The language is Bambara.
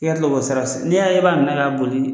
N'i ka tila k'o sara n'i y'a ye i b'a minɛ k'a boli